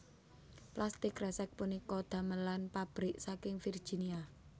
Plastik kresek punika damelan pabrik saking Virginia